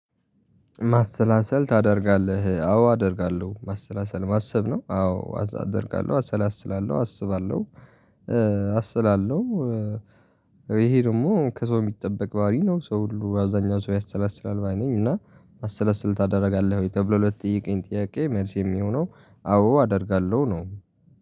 ማሰላሰል ታደርጋለህ አዎ አደርጋለሁ ማሰላሰል ማሰብ ነው አዎ አደርጋለሁ አሰላስላለሁ አስባለሁ አስላለሁ። ይሄ ደግሞ ከሰው የሚጠበቅ ባህሪ ነው። ሰው ሁሉ አብዛኛው ሰው ያሰላስላል ባይ ነኝ። እና ማሰላስል ታደርጋለህ ወይ ተብሎ ለተጠየቀኝ ጥያቄ መልሴ የሚሆነው አዎ አደርጋለሁ ነው